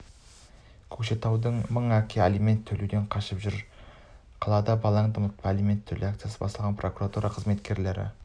көкшетауда мың әке алимент төлеуден қашып жүр қалада балаңды ұмытпа алимент төле акциясы басталғалы прокуратура қызметкерлері